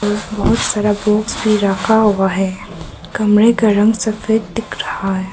बहुत सारा बॉक्स भी रखा हुआ है कमरे का रंग सफेद दिख रहा है।